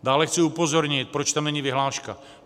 Dále chci upozornit, proč tam není vyhláška.